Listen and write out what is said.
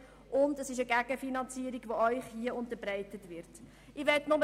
Zudem dient es als Gegenfinanzierung für beschlossene Mindereinnahmen.